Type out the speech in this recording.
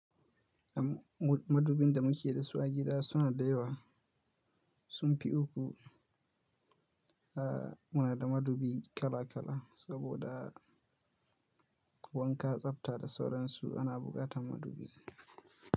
Madubin da muke dasu a gida suna da yawa, sun fi uku. Aaa, muna da madubi kala kala saboda wanka, tsafta da sauransu ana buƙatan madubi.